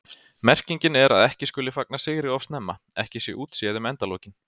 Merkingin er að ekki skuli fagna sigri of snemma, ekki sé útséð um endalokin.